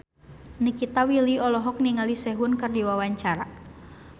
Nikita Willy olohok ningali Sehun keur diwawancara